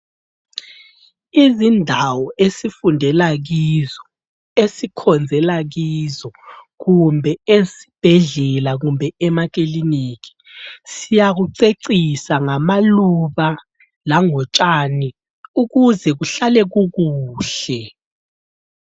Izindawo esifundela kizo, esikhonzela kizo kumbe ezibhedlela kumbe emakiliniki siyakucecisa ngamaluba langotshani ukuze kuhlale kukuhle.